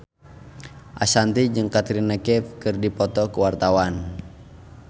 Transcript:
Ashanti jeung Katrina Kaif keur dipoto ku wartawan